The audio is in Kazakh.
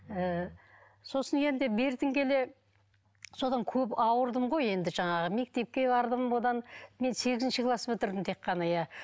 ы сосын енді бертін келе содан көп ауырдым ғой енді жаңағы мектепке бардым бұдан мен сегізінші класс бітірдім тек қана иә